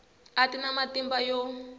a ti na matimba yo